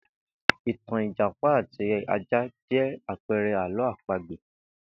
Ìtàn Ìjàpá àti ajá jé̩ àpe̩e̩re̩ àló̩ àpagbè